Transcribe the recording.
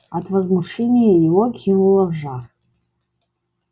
от возмущения его кинуло в жар